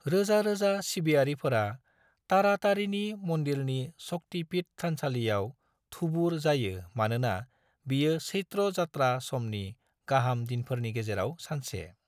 रोजा रोजा सिबियारिफोरा तारातारिणी मन्दिरनि शक्ति पीठ थानसालियाव थुबुर जायो मानोना बियो चैत्र यात्रा समनि गाहाम दिनफोरनि गेजेराव सानसे।